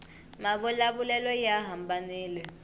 mavula vulelo ya hambanile